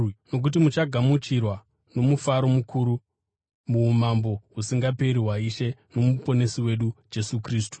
nokuti muchagamuchirwa nomufaro mukuru muumambo husingaperi hwaIshe noMuponesi wedu Jesu Kristu.